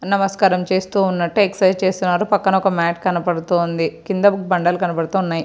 నమస్కారం చేస్తూ ఉన్నట్టు ఎక్ససైజ్ చేస్తున్నారు పక్కన ఒక మాట్ కనబడుతూ ఉంది. కింద ఒక బండలు కనబడుతూ ఉన్నాయి.